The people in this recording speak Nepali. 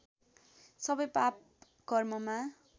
सबै पाप कर्ममा